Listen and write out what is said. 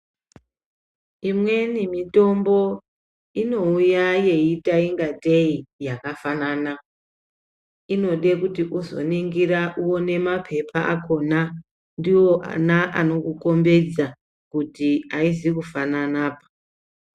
Imweni mitombo inouuya yeiita ingatei yakafanana, inode kuti uzoningira uone mapepa akona ndiwo ana anokukombedza kuti aizi kufanana.